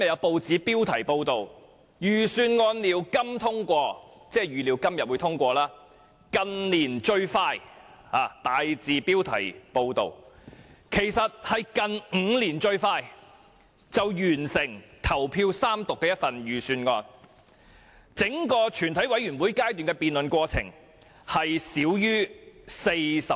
報道又形容這份預算案為"近年最快"，其實就是近5年來最快完成投票三讀的預算案，整個全委會階段的辯論過程只耗費少於40小時。